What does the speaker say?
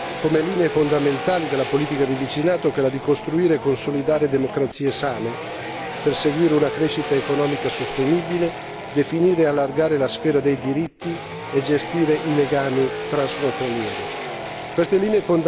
Abbiamo scelto come linee fondamentali della politica di vicinato quelle di costruire e consolidare democrazie sane per seguire una crescita economica sostenibile, definire e allargare la sfera dei diritti e gestire i legami transfrontalieri.